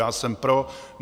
Já jsem pro.